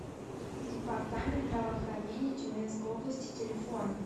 департамент здравоохранения тюменской области телефон